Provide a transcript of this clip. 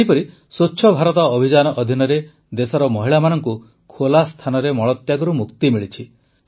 ସେହିପରି ସ୍ୱଚ୍ଛ ଭାରତ ଅଭିଯାନ ଅଧୀନରେ ଦେଶର ମହିଳାମାନଙ୍କୁ ଖୋଲା ସ୍ଥାନରେ ମଳତ୍ୟାଗରୁ ମୁକ୍ତି ମିଳିଛି